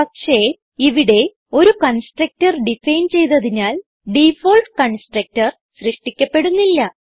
പക്ഷേ ഇവിടെ ഒരു കൺസ്ട്രക്ടർ ഡിഫൈൻ ചെയ്തതിനാൽ ഡിഫോൾട്ട് കൺസ്ട്രക്ടർ സൃഷ്ടിക്കപ്പെടുന്നില്ല